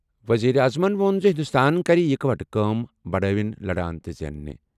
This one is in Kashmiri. ؤزیٖرِ اعظمن ووٚن زِ ہِنٛدوستان کَرِ اِکہٕ وٹہٕ کٲم، بَڑاوٕنۍ، لَڑان تہٕ زینٕنہِ ۔